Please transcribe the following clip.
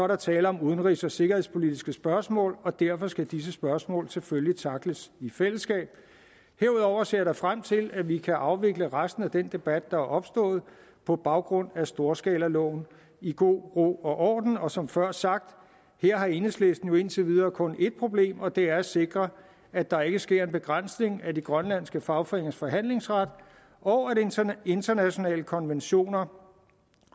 der tale om udenrigs og sikkerhedspolitiske spørgsmål og derfor skal disse spørgsmål selvfølgelig tackles i fællesskab herudover ser jeg da frem til at vi kan afvikle resten af den debat der er opstået på baggrund af storskalaloven i god ro og orden og som før sagt her har enhedslisten jo indtil videre kun et problem og det er at sikre at der ikke sker en begrænsning af de grønlandske fagforeningers forhandlingsret og at internationale konventioner